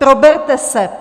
Proberte se.